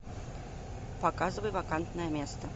показывай вакантное место